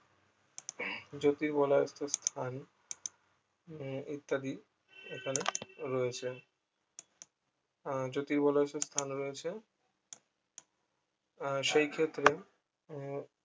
জ্যোতির্বলয় সূত্র স্থান উম ইত্যাদি এখানে রয়েছে আহ জ্যোতির্বলয়ে স্থান রয়েছে আহ সেই ক্ষেত্রে উম